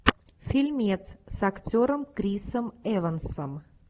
фильмец с актером крисом эвансом